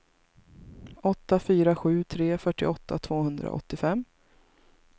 åtta fyra sju tre fyrtioåtta tvåhundraåttiofem